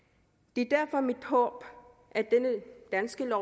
det er derfor mit håb at dette danske